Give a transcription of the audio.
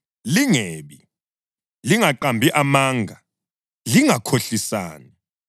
Lingebi. Lingaqambi amanga. Lingakhohlisani.